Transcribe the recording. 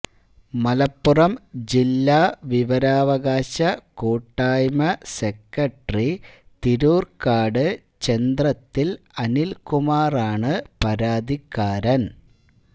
മലപ്പുറം ജില്ലാ വിവരാവകാശ കൂട്ടായ്മെ സെക്രട്ടറി തിരൂര്ക്കാട് ചെന്ത്രത്തില് അനില്കുമാറാണ് പരാതിക്കാരന്